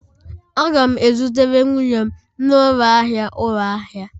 Aga'm e zutere m nwunye m n'ụlọ ahịa ụlọ ahịa